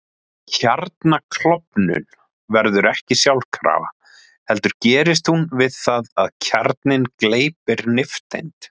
Kjarnaklofnun verður ekki sjálfkrafa heldur gerist hún við það að kjarninn gleypir nifteind.